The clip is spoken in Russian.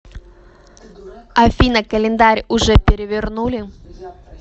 афина календарь уже перевернули